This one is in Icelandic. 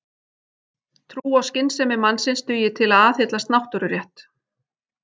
Trú á skynsemi mannsins dugi til að aðhyllast náttúrurétt.